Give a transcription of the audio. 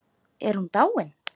Er hún dáin?